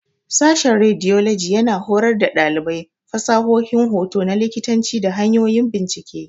Sashen Radiology yana horar da ɗalibai fasahohin hoto na likitanci da hanyoyin bincike.